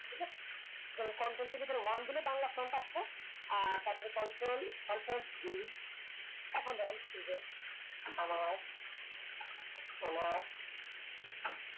যেমন Ctrl চেপে ধরে one বাংলা font আছে আর তার পরে control ctrl G এখন ধরেন যে সমাজ